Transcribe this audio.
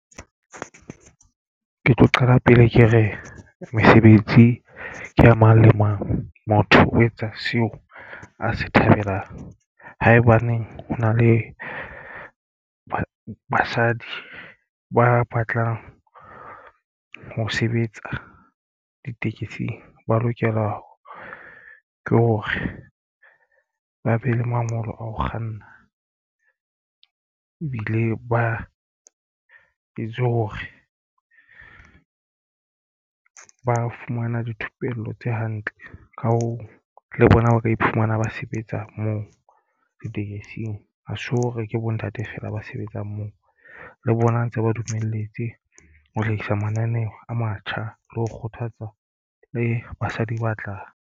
Ke tlo qala pele ke re mesebetsi ke a mang le mang. Motho o etsa seo a se thabelang. Haebaneng o na le basadi ba batlang ho sebetsa ditekesing ba lokela ke hore ba be le mangolo a ho kganna ebile ba etswe hore ba fumana dithupello tse hantle. Ka hoo le bona ba ka iphumana ba sebetsa moo ditekesing a so re ke bontate feela ba sebetsang moo le bona ntse ba dumelletswe ho hlahisa mananeo a matjha le ho kgothatsa le basadi ba tla.